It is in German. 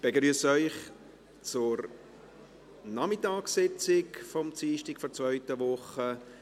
Ich begrüsse Sie zur Nachmittagssitzung des Dienstags der zweiten Woche.